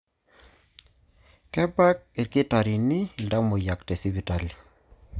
Kebak ilkitarini iltamoyiak te sipitali.